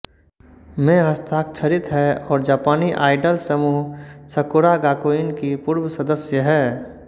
में हस्ताक्षरित है और जापानी आइडल समूह सकुरा गाकुइन की पूर्व सदस्य है